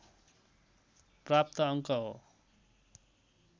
प्राप्त अङ्क हो